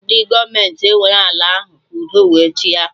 Ndị gọọmenti ewere ọ ala ahụ ka udo wee chịa